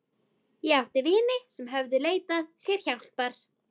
Ég átti vini sem höfðu leitað sér hjálpar.